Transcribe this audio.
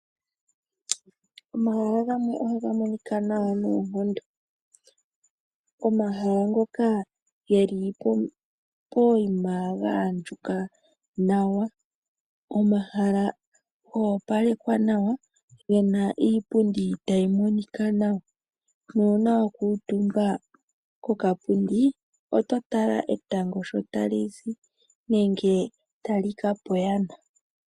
Omahala gamwe ohaga monika nawa noonkondo. Omahala ngoka geli pokuma pwa andjuka nawa . Omahala go opalekwaa nawa gena iipundi tayi monika nawa nuuna wa kuutumba kokapundi ototala etango sho talizi nenge tali kapa oyana.